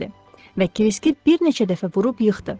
Və Kriski bir neçə dəfə vurub yıxdı.